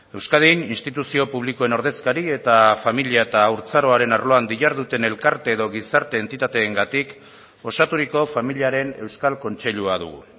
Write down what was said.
euskadin instituzio publikoen ordezkari eta familia eta haurtzaroaren arloan diharduten elkarte edo gizarte entitateengatik osaturiko familiaren euskal kontseilua dugu